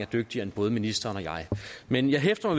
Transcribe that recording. dygtigere end både ministeren og mig men jeg hæfter